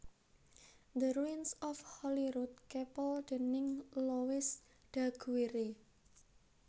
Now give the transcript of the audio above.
The Ruins of Holyrood Chapel déning Louis Daguerre